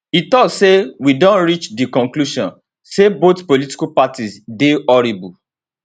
e tok say we don reach di conclusion say both political parties dey horrible